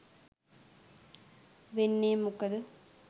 වෙන්නේ මොකද?